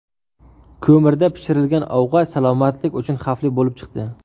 Ko‘mirda pishirilgan ovqat salomatlik uchun xavfli bo‘lib chiqdi.